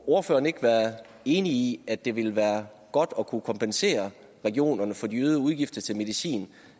ordføreren ikke være enig i at det vil være godt at kunne kompensere regionerne for de øgede udgifter til medicin